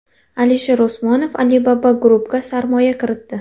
Alisher Usmonov Alibaba Group’ga sarmoya kiritdi.